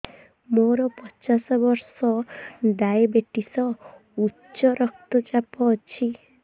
ମୋର ପଚାଶ ବର୍ଷ ଡାଏବେଟିସ ଉଚ୍ଚ ରକ୍ତ ଚାପ ଅଛି